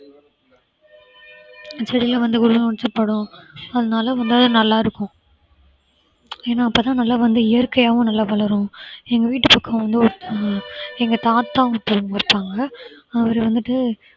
செடியில வந்து படும் அதனால வந்து அது நல்லா இருக்கும் ஏன்னா அப்பதான் நல்லா வந்து இயற்கையாகவும் நல்லா வளரும் எங்க வீட்டு பக்கம் வந்து ஒருத்தவங்க எங்க தாத்தா ஒருத்தவங்க இருப்பாங்க அவரு வந்துட்டு